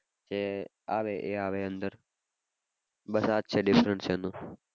જે આવે એ આવે અંદર. બસ આ જ છે difference એનો.